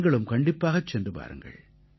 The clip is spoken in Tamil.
நீங்களும் கண்டிப்பாகச் சென்று வாருங்கள்